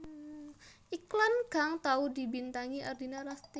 Iklan kang tau dibintangi Ardina Rasti